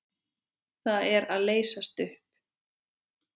Það er að leysast upp.